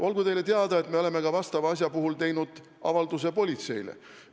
Olgu teile teada, et me oleme selle asja puhul teinud avalduse politseile.